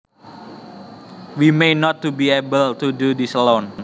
We may not be able to do this alone